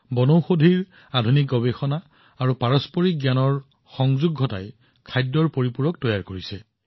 কিউৰৱেদাই আধুনিক গৱেষণা আৰু বনৌষধিৰ পৰম্পৰাগত জ্ঞান একত্ৰিত কৰি সামগ্ৰিক জীৱনৰ বাবে আহাৰ পৰিপূৰকৰ সৃষ্টি কৰিছে